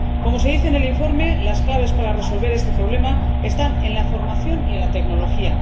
Como se dice en el informe, las claves para resolver este problema están en la formación y en la tecnología.